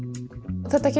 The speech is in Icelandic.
þetta